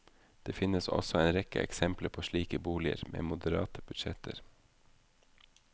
Det finnes også en rekke eksempler på slike boliger med moderate budsjetter.